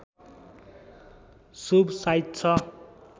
शुभ साइत छ